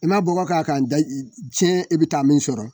I ma bɔgɔ k'a kan da tiɲɛ i bɛ taa min sɔrɔ